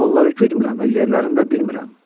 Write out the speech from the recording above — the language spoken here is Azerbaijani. Mən onları güdmürəm və yerlərini də bilmirəm.